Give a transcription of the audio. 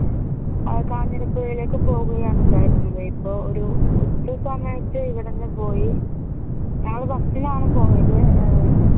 കാഞ്ഞിരപ്പുഴയിലേക്ക് പോകുകയാണ് ഉണ്ടായിരുന്നത് ഇപ്പൊ ഒരു ഉച്ചസമയത് ഇവിടുന്നു പോയി ഞങ്ങള് bus ഇനാണ് പോയത് ഏർ